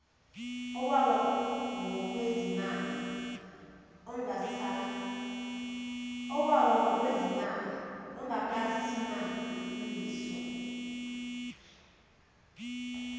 owawa ngokwezimali ongakasimamiswa